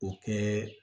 O kɛ